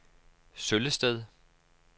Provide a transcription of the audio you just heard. Søllested